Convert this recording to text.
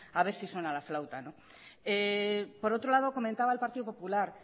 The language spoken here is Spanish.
a ver si suena la flauta por otro lado comentaba el partido popular